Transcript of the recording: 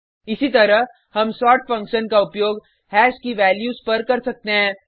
इसी तरह हम सोर्ट फंक्शन का उपयोग हैश की वैल्यूज़ पर कर सकते हैं